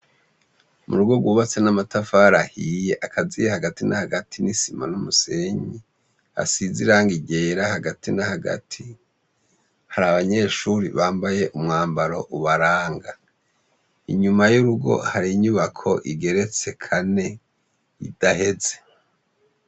Mu rugo rwubatse n'amatafari ahiye akaziye hagati na hagati n'isima n'umusenyi hasize iranga ryera hagati na hagati hari abanyeshuri bambaye umwambaro ubaranga inyuma y'urugo hari inyubako igeretse kane idaheze.